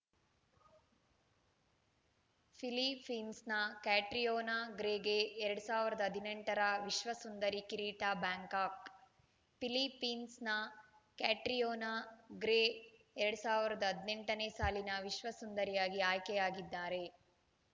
ಫಿಲಿಪ್ಪೀನ್ಸ್‌ನ Catriona ಗ್ರೇಗೆ ಎರಡ್ ಸಾವಿರದ ಹದಿನೆಂಟರ ವಿಶ್ವಸುಂದರಿ ಕಿರೀಟ ಬ್ಯಾಂಕಾಕ್‌ ಫಿಲಿಪ್ಪೀನ್ಸ್‌ನ ಕ್ಯಾಟ್ರಿಯೋನಾ ಗ್ರೇ ಎರಡ್ ಸಾವಿರದ ಹದಿನೆಂಟನೇ ಸಾಲಿನ ವಿಶ್ವಸುಂದರಿಯಾಗಿ ಆಯ್ಕೆಯಾಗಿದ್ದಾರೆ